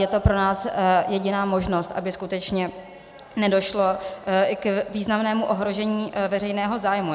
Je to pro nás jediná možnost, aby skutečně nedošlo i k významnému ohrožení veřejného zájmu.